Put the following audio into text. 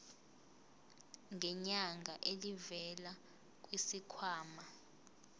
ngenyanga elivela kwisikhwama